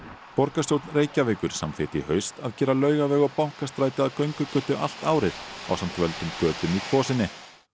borgarstjórn Reykjavíkur samþykkti í haust að gera Laugaveg og Bankastræti að göngugötu allt árið ásamt völdum götum í Kvosinni